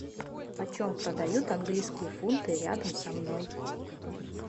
почем продают английские фунты рядом со мной